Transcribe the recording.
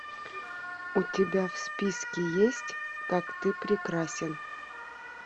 у тебя в списке есть как ты прекрасен